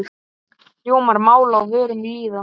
Hljómar mál á vörum lýða.